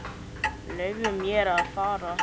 Leyfðu mér að fara.